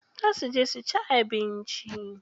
Za su je suci abinci.